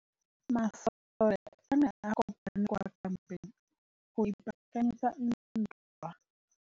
Masole a ne a kopane kwa kampeng go ipaakanyetsa ntwa.